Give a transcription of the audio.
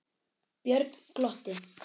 Björn glotti.